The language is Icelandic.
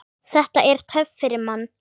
Þetta er töff fyrir mann.